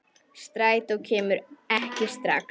Strætó kemur ekki strax.